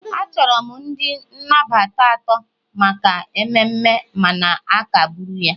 achọrọ m ndị nnabata atọ maka mmemme mana akagburu ya